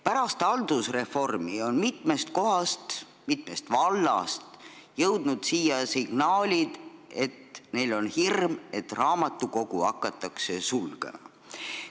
Pärast haldusreformi on mitmest vallast kuulda olnud signaale, et rahval on hirm, et raamatukogu hakatakse sulgema.